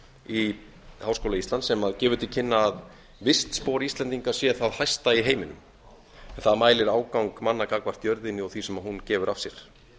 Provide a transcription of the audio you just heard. í háskóla íslands sem gefur til kynna að vistspor íslendinga sé það hæsta í heiminum það mælir ágang manna gagnvart jörðinni og því sem hún gefur af sér